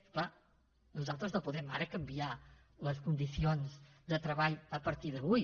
és clar nosaltres no podem ara canviar les condicions de treball a partir d’avui